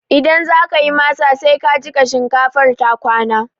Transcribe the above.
Idan zakayi masa, sai ka jiƙa shinkafar ta kwana